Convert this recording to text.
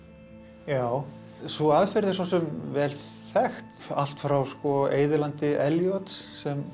já sú aðferð er svo sem vel þekkt allt frá Eyðilandi Eliots sem